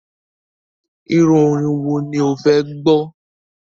Iru orin wò ní o fè gbó?